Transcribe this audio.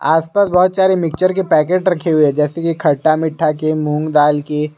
आसपास बहुत सारे मिक्सचर के पैकेट रखे हुए हैं जैसे कि खट्टा मीठा के मूंग दाल के।